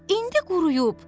İndi quruyub.